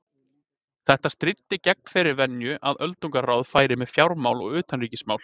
Þetta stríddi gegn þeirri venju að öldungaráðið færi með fjármál og utanríkismál.